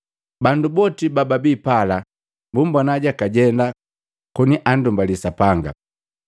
Bandu boti bababi pala bumbona jakajenda koni anndumbali Sapanga.